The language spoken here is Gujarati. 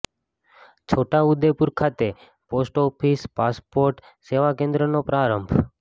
છોટા ઉદેપુર ખાતે પોસ્ટ ઓફિસ પાસપોર્ટ સેવા કેન્દ્રનો પ્રારંભ